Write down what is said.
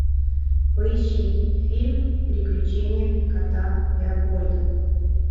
поищи фильм приключения кота леопольда